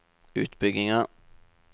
utbygginger